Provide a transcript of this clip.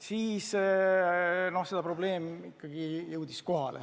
Siis see probleem ikkagi jõudis kohale.